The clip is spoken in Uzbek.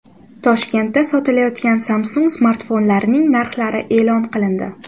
Toshkentda sotilayotgan Samsung smartfonlarining narxlari e’lon qilindi.